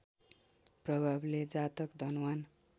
प्रभावले जातक धनवान्